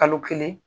Kalo kelen